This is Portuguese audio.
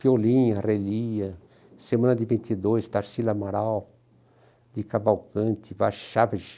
Fiolinha, Relia, Semana de vinte e dois, Tarsila Amaral, de Cavalcante, Vachavich,